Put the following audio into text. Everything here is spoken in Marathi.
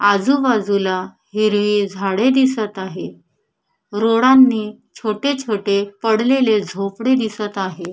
आजूबाजूला हिरवी झाडे दिसत आहेत रोडांनी छोटे छोटे पडलेले झोपडे दिसत आहे.